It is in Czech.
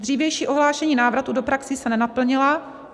Dřívější ohlášení návratů do praxí se nenaplnila.